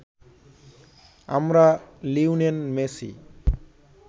আমরা Lionel Messi